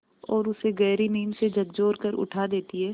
और उसे गहरी नींद से झकझोर कर उठा देती हैं